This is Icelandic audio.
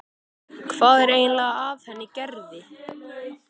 Hvað er eiginlega að henni Gerði.